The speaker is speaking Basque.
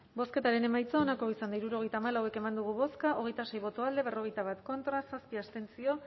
bozketaren emaitza onako izan da hirurogeita hamalau eman dugu bozka hogeita sei boto alde berrogeita bat contra zazpi abstentzio